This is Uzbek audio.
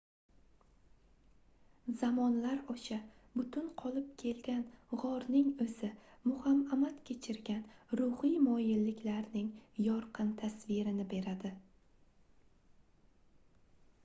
zamonlar osha butun qolib kelgan gʻorning oʻzi muhamamad kechirgan ruhiy moyilliklarning yorqin tasvirini beradi